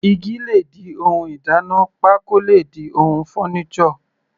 Igi le di ohun ìdáná, pákó le di ohun furniture.